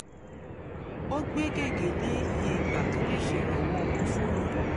ó gbé gègé lé iye ìgbà tó lè ṣèrànwọ́ owó fún yàn